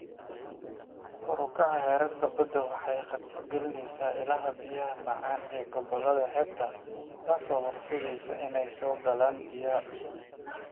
Kor u kaca heerka baddu waxay khatar gelinaysaa ilaha biyaha macaan ee gobollada xeebta, taasoo horseedaysa inay soo galaan biyaha cusbada.